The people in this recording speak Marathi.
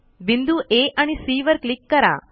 बिंदू आ आणि सी वर क्लिक करा